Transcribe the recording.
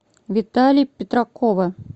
витали петракова